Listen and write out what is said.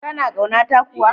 Kana kauna ta kuwa?